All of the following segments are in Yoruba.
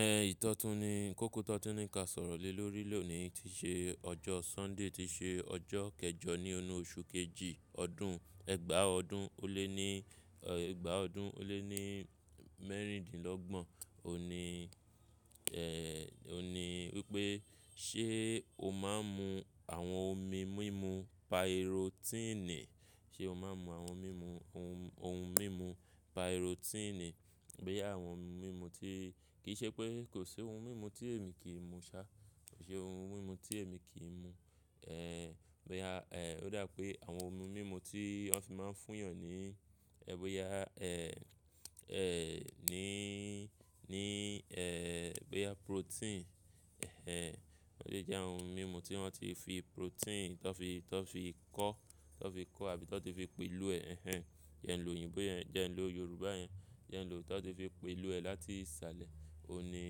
Ẹ ìtọ́tún ni, kọ́kọ́ tọ́tún ní ká sọ̀rọ̀ lè lórí lóòní tí ṣe ọjọ́ Sunday tí ṣe ọjọ́ kẹjọ ní ọnú oṣù kejì ọdún ẹgbàá ọdún ó lé ní, ẹgbàá ọdún ó lé ní mẹ́rìndínlọ́gbọ̀n. Ó ní, ó ní wípé ṣé o máa ń mu àwọn omi mímu pirotiini? Ṣé o máa ń mu àwọn mímu ohun, ohun mímu pirotiini? Bóyà àwọn ohun mímu tí-- kì í ṣe pé kò sí ohun mímu tí èmi kì í mu ṣá, kò sí ohun mímu tí èmi kì í mu. Bòyá ẹ̀ ó dà pé àwọn ohun mímu tí wọn fi máa ń fún yàn ní, ẹ bóyà ẹ̀, ẹ̀ ní, ní ẹ bí i a protein ọ̀ṣìṣẹ́ jẹ́ àwọn ohun mímu tí wọ́n ti fi protein tó fi, tó fi kọ́, tó fi kọ́ àbí tó ti fi pè ló ẹ jẹn lòyìnbo yẹn, jẹ́ ń lò yorùbá yẹn, jẹ́ ń lò tà ti fi pè ló ẹ láti salẹ̀, òní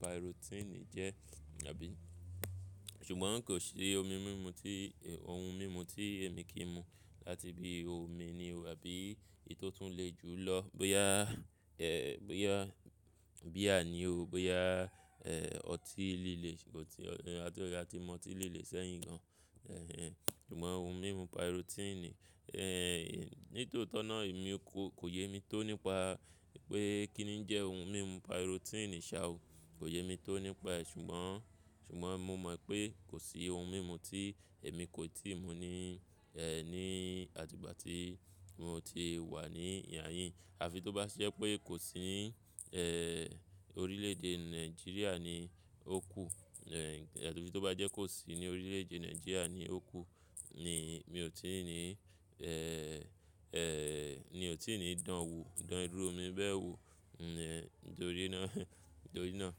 pirotiini jẹ́ àbí. Ṣùgbọ́n kò sí omi mumu tí, ohun mímu tí èmi kì í mu láti bí i omi ni o àbí eyì tọ́ tún le ju lọ. Boya e boya beer a ni o, boya e ọtí líle, ṣe o tí a tó a tí mọ tí líle sẹ́yìn gan. Ṣùgbọ́n ohun mímu pirotiini e ní tòótọ́ náà èmi kò kò yé mi tó nípa pé kí ni jẹ́ ohun mímu pirotiini sá o. Kò yé mi tó nípa ẹ̀ ṣùgbọ́n, ṣùgbọ́n mo mọ̀ pé kò sí ohun mímu tí èmi kò i tíì mu ní e ní àtigbà tí mo ti wà ní ìhà yín. À fi tó bá ṣe pé kò sí e orílẹ̀ èdè Nigeria ni ó kù à fi tó bá jẹ́ kó sí ní orílẹ̀ èdè Nigeria ni ó kù ni mi ò tí ì ní e. Ni ò tí ì ní dán wo, dán irú omi bẹ́ẹ̀ wo nítorí náà, nítorí náà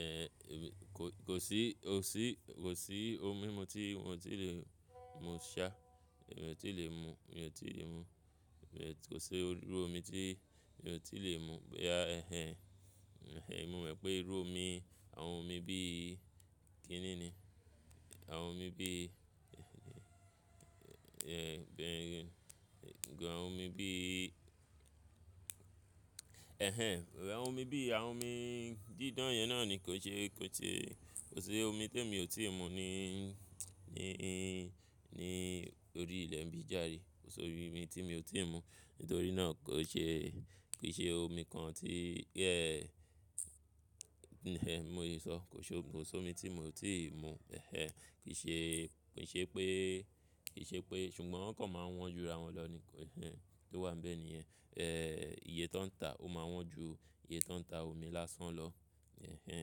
e ko kò sí, kò sí, kò sí ohun mímu tí mi ò tí lè mu ṣá, èmi ò tí lè mu, mi ò tí lè mu. Kò sí irú omi tí èmi ò tí lè mu. Boya e e èmi mọ̀ pé irú omi, àwọn omi bí i kí ni ni? Àwọn omi bí i e be gàn àwọn omi bí i, e e àwọn omi bí i, àwọn omi dídán yẹn náà ni kò ṣe, kò ṣe, kò sí omi tí èmi ò tíì mu ní, ní, ní orí ilẹ̀ n bi járe. Kò sí omi tí mi ò tíì mu. Nítorí náà kò ṣe, kì í ṣe omi kan tí mo yi sọ. Kò ṣe, kò sí omi tí mo ti mu. Kì í ṣe, kì í ṣe pé, kì í ṣe pé ṣùgbọ́n wọ́n kan máa ń wọ́n ju ràwọn lọ ní e e oun tó wà níbẹ̀ nìyẹn. Iye tó ń ta ó máa wọ́n ju iye tó ń ta omi lásán lọ. E e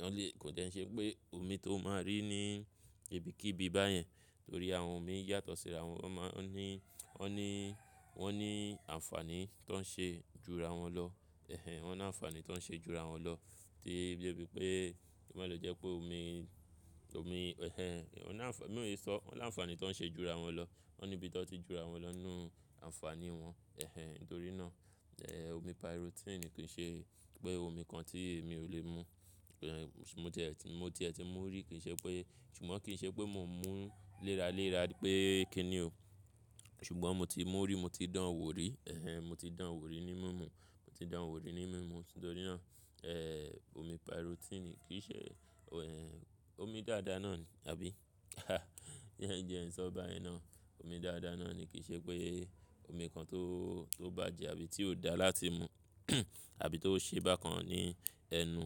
wọ́n le, kò dẹ́ ẹ́ ṣe pé omi tó máa rí ní ibikíbi báyẹn torí àwọn omi yàtọ̀ síra wọn. Wọn máa ń ní, wọ́n ní, wọ́n ní àǹfààní tó ń ṣe ju ra wọn lọ e e. Wọ́n ní àǹfàní tó ń ṣe ju ra wọn lọ. Tí de bí pé ko ma lo jẹ́ pé omi, omi e e wọ́n ní àǹfà-- bi mò lè sọ́, wọ́n láǹfàní tó ń ṣe ju ra wọn lọ. Wọ́n ní ibi tó ti ju ra wọn lọ ní nu àǹfàní wọn e e. Nítorí náà omi pirotiini kì í ṣe pé omi kan tí èmi ò lè mu. Mo ti ẹ ti, mo ti ẹ ti mú rí kì í ṣe pé ṣùgbọ́n kì í ṣe pé mò ń mú léra, léra pé kí ni o. Ṣùgbọ́n mo ti mú rí, mo ti dán wò rí e e. Mo ti dán wò rí ní mímu. Mo ti dán wò rí ní mímu. Nítorí náà e omi pirotiini kì í ṣe omi dàda náà àbí bí ẹ ń jẹ ẹ̀ sọ bá ẹ ná. Omi dàda náà ni kì í ṣe pé omi kan tó, tó bàjẹ́ àbí tí ò dá láti mu àbí tó ṣe bá kan ní ẹnu.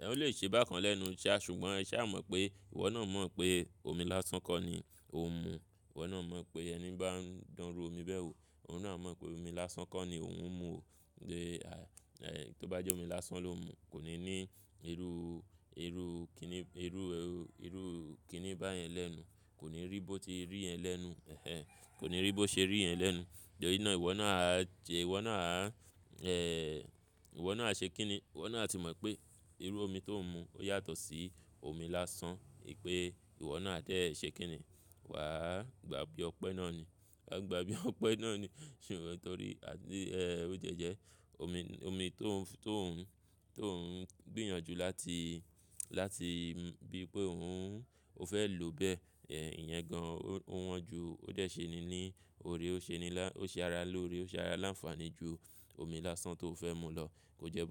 Ẹ̀ ò lè ṣe bá kan lẹ́nu ṣá ṣùgbọ́n e ṣá mọ̀ pé ìwọ náà mọ̀ pé omi lásán ko ni ò ń mu. Ìwọ náà mọ̀ pé ẹni bá ń dán ru omi bẹ́ẹ̀ wò, òun náà mọ̀ pé omi lásán ko ni òun ń mu o. Bí a e tó bá jẹ́ omi lásán ló ń mu kò ní ní irú, irú kí ni, irú, irú kí ni báyẹn lẹ́nu. Kò ní rí bó ti rí yẹ̀n lẹ́nu. Kò ní rí bó ṣe rí ẹ̀ lẹ́nu. Nítorí náà ìwọ náà á jẹ, ìwọ náà á e ìwọ náà á ṣe kí ni? Ìwọ náà ti mọ̀ pé irú omi tó ń mu ó yàtọ̀ sí omi lásán. Pé ìwọ náà á dé ṣe kí ni? Wà á gbà bí ọpẹ́ náà ni. Wà á gbà bí ọpẹ́ náà ni. Ṣùgbọ́n torí a bi ó jẹ́ jẹ́ omi, omi tó ń, tó ń, tó ń gbìyànjú láti, láti bí pé òun, ó fẹ́ lòó bẹ́ẹ̀ e ìyẹn gan-an ó wọ́n ju. Ó dé ṣe ni ní ọ̀rẹ́ ó ṣe ni lá- ó ṣe ara lóore, ó ṣe ara láǹfààní ju omi lásán tó fẹ́ mu lọ. Kò jẹ́ bó ye.